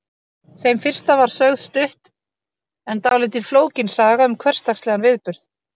Þeim fyrsta var sögð stutt en dálítið flókin saga um hversdagslegan viðburð.